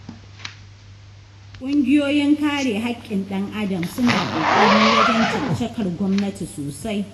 Ƙungiyoyin kare hakkin ɗan-adam suna ƙoƙari wajen caccakar gwamnati sosai.